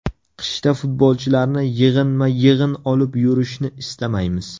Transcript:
Qishda futbolchilarni yig‘inma-yig‘in olib yurishni istamaymiz.